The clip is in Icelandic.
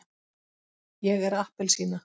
ég er appelsína.